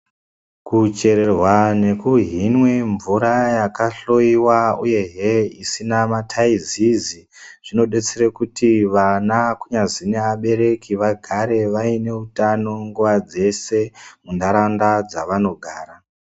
Kucherwa nekuhinwa mvura hakahloyewa uyehe isina taizizi zvinodetsera kuti ana kunyazi neabereki vagare vane utano nguwa dzeshe muntaraunda dzavanogara.